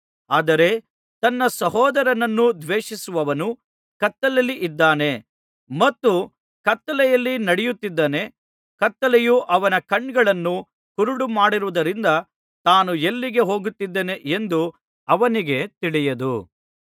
ಆದರೆ ತನ್ನ ಸಹೋದರನನ್ನು ದ್ವೇಷಿಸುವವನು ಕತ್ತಲೆಯಲ್ಲಿದ್ದಾನೆ ಮತ್ತು ಕತ್ತಲೆಯಲ್ಲಿ ನಡೆಯುತ್ತಿದ್ದಾನೆ ಕತ್ತಲೆಯು ಅವನ ಕಣ್ಣುಗಳನ್ನು ಕುರುಡುಮಾಡಿರುವುದರಿಂದ ತಾನು ಎಲ್ಲಿಗೆ ಹೋಗುತ್ತಿದ್ದೇನೆ ಎಂದು ಅವನಿಗೆ ತಿಳಿಯದು